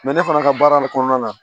ne fana ka baara de kɔnɔna na